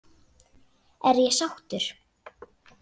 Er ég sáttur?